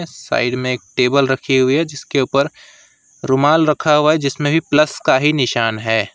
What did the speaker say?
Side में एक table रखी हुई है जिसके ऊपर रुमाल रखा हुआ है जिसमें भी प्लस का ही निशान है।